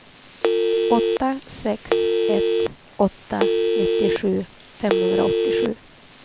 åtta sex ett åtta nittiosju femhundraåttiosju